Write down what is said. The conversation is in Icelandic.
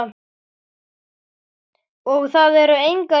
Og það eru engar ýkjur.